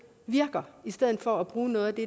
virker i stedet for at bruge noget af det